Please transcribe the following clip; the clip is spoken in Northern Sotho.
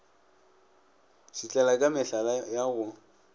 šitlela ka mehlala ya go